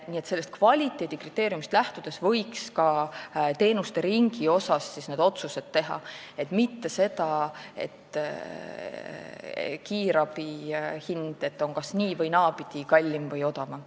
Nii et sellest kvaliteedikriteeriumist lähtudes võiks ka teenuseringi kohta need otsused teha, mitte sellest lähtudes, et kiirabi hind on kas nii- või naapidi, kallim või odavam.